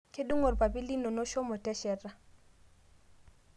Kedung'o lpapit linono shomo teshata